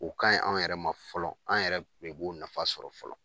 O ka ɲi anw yɛrɛ ma fɔlɔ ,anw yɛrɛ de b'o nafa sɔrɔ fɔlɔ.